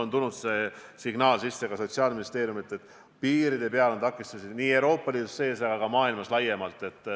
Ma olen selle signaali täna saanud ka Sotsiaalministeeriumilt, et piiride peal on takistusi nii Euroopa Liidu sees kui ka maailmas laiemalt.